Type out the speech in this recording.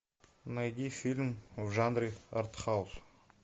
найди фильм в жанре артхаус